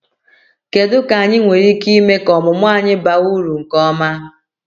Kedu ka anyị nwere ike ime ka ọmụmụ anyị baa uru nke ọma?